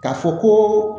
K'a fɔ ko